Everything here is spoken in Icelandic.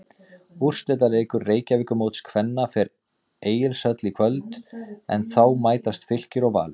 Úrslitaleikur Reykjavíkurmóts kvenna fer Egilshöll í kvöld en þá mætast Fylkir og Valur.